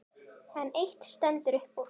En eitt stendur upp úr.